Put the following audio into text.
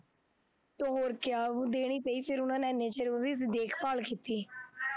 ਅਤੇ ਹੋਰ ਕਿਆ, ਹੁਣ ਦੇਣੀ ਪਈ, ਫੇਰ ਉਹਨਾ ਨੇ ਐਨਾ ਚਿਰ ਉਹਦੀ ਦੇਖਭਾਲ ਕੀਤੀ,